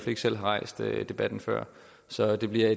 ikke selv har rejst debatten før så det bliver